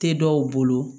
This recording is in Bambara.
Tɛ dɔw bolo